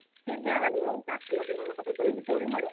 ସେ ଯାହା ବି ହଉ ସେ ଆସିଥିଲା କି ନାହିଁ ମୋ ପାଖକୁ